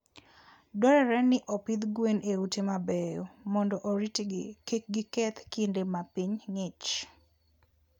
Dwarore ni opidh gwen e ute mabeyo mondo oritgi kik giketh kinde ma piny ng'ich.